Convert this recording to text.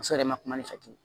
Muso yɛrɛ ma kuma ne fɛ ten